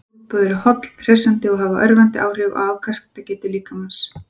Sólböð eru holl, hressandi og hafa örvandi áhrif á afkastagetu líkamans.